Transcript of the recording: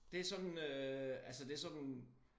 Det sådan øh altså det sådan